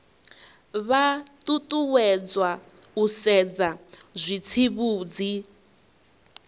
vha ṱuṱuwedzwa u sedza zwitsivhudzi